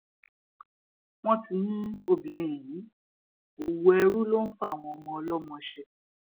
wọn ti mú obìnrin yìí ọwọ ẹrú ló ń fàwọn ọmọ ọlọmọ ṣe